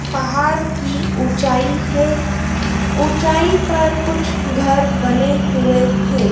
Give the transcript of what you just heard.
पहाड़ की ऊंचाई है। ऊंचाई पर कुछ घर बने हुए हैं।